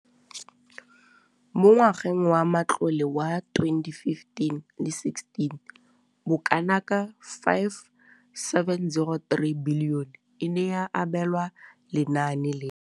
Mo ngwageng wa matlole wa 2015,16, bokanaka R5 703 bilione e ne ya abelwa lenaane leno.